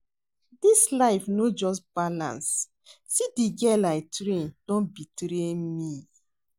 Dis life no just balance, see the girl I train don betray me